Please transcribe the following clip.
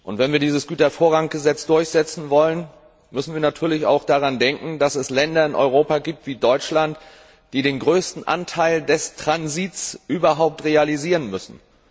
Wenn wir dieses Gütervorranggesetz durchsetzen wollen, müssen wir natürlich auch daran denken, dass es in Europa Länder wie Deutschland gibt, die den größten Anteil des Transits überhaupt realisieren müssen.